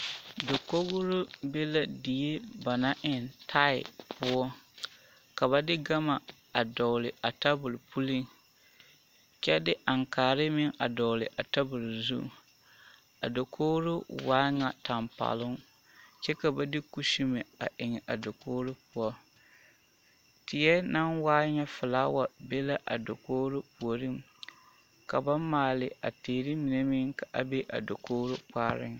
Dakogro be la die ba naŋ eŋ taai poɔ ka ba de gama a doŋle a tabol puleŋ kyɛ de aŋkaare a doŋle a tabol zu a dakogro waa nyɛ tampɛloŋ kyɛ ka ba de kuseme a eŋ a dakogro poɔ tiɛ naŋ waa ŋa folaawa be la a puureŋ ka ba maale a teere mine ka a be a dakogro kpaare.